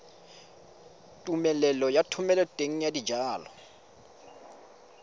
tumelelo ya thomeloteng ya dijalo